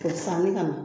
K'o sanni ka na